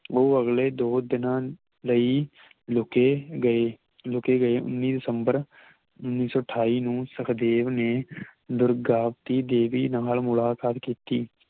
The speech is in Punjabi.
ਉਹ ਅਗਲੇ ਦੋ ਦਿਨਾਂ ਲਈ ਲੁਘੇ ਗਏ ਲੁਘੇ ਗਏ ਉੱਨੀ ਦਿਸੰਬਰ ਉੱਨੀ ਸੌ ਠਾਇ ਨੂੰ ਸਖਦੇਵ ਨੇ ਦੁਰਗਾਵਤੀ ਦੇਵੀ ਨਾਲ ਮੁਲਾਕਾਤ ਕੀਤੀ